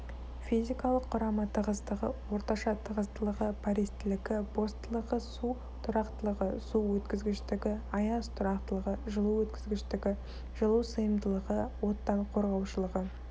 физикалық құрамы тығыздығы орташа тығыздылығы пористілігі бостылығы су тұрақтылығы су өткізгіштігі аяз тұрақтылығы жылу өткізгіштігі жылу сыйымдылығы оттан қорғаушылығы